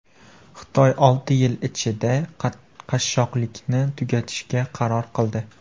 Xitoy olti yil ichida qashshoqlikni tugatishga qaror qildi.